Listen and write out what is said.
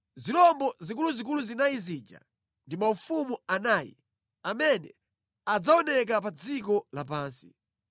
‘Zirombo zikuluzikulu zinayi zija ndi maufumu anayi amene adzaoneka pa dziko lapansi.